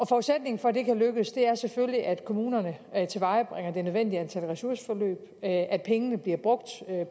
forudsætningen for at det kan lykkes er selvfølgelig at kommunerne tilvejebringer det nødvendige antal ressourceforløb at at pengene bliver brugt